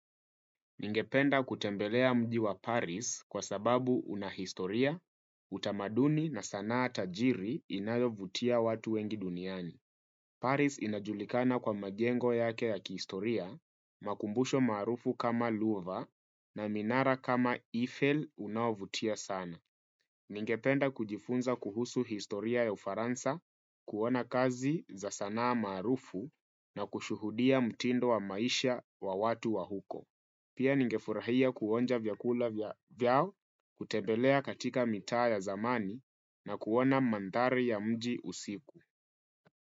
Ningependa kutembelea mji wa Paris kwa sababu una historia, utamaduni na sanaa tajiri inayovutia watu wengi duniani. Paris inajulikana kwa majengo yake ya kihistoria, makumbusho maarufu kama Louvre na minara kama Eiffel unaovutia sana. Ningependa kujifunza kuhusu historia ya ufaransa, kuona kazi za sanaa maarufu na kushuhudia mtindo wa maisha wa watu wa huko. Pia ningefurahia kuonja vyakula vyao, kutembelea katika mitaa ya zamani na kuona mandhari ya mji usiku.